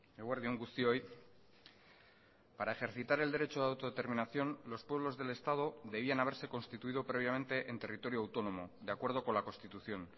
eguerdi on guztioi para ejercitar el derecho de autodeterminación los pueblos del estado debían haberse constituido previamente en territorio autónomo de acuerdo con la constitución